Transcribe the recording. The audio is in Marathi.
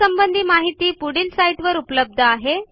यासंबंधी माहिती पुढील साईटवर उपलब्ध आहे